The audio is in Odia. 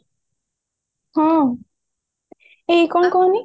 ହଁ କଇଁ କଣ କହୁନୁ